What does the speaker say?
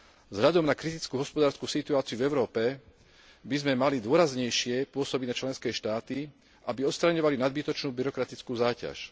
Vzhľadom na kritickú hospodársku situáciu v Európe by sme mali dôraznejšie pôsobiť na členské štáty, aby odstraňovali nadbytočnú byrokratickú záťaž.